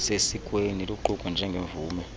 sesikweni luqukwe njengemvume